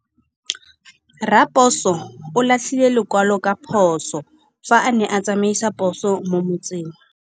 Raposo o latlhie lekwalô ka phosô fa a ne a tsamaisa poso mo motseng.